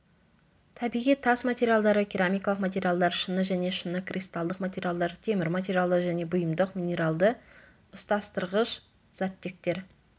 табиғи тас материалдары керамикалық материалдар шыны және шыны кристалдық материалдар темір материалдар және бұйымдар минералды ұстастырғыш заттектер